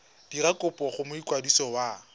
dira kopo go mokwadisi wa